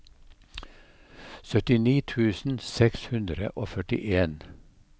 syttini tusen seks hundre og førtien